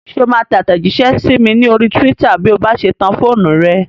Ṣé o máa tẹ àtẹ̀jísẹ́ sí mi ní orí túwítà bí o bá ṣe tan fóònù rẹ?